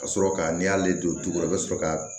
Ka sɔrɔ ka n'i y'ale don tu kɔrɔ i be sɔrɔ ka